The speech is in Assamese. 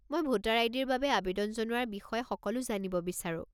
মই ভোটাৰ আই.ডি.-ৰ বাবে আৱেদন জনোৱাৰ বিষয়ে সকলো জানিব বিচাৰো।